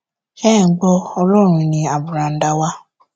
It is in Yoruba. ṣé ẹ ń gbọ ọlọrun ní àbùràǹdà wa